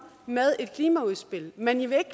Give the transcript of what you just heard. med et klimaudspil men i vil ikke